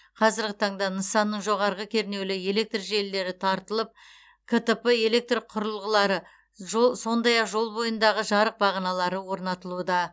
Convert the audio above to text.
қазіргі таңда нысанның жоғарғы кернеулі электр желілері тартылып ктп электр құрылғылары жол сондай ақ жол бойындағы жарық бағаналары орнатылуда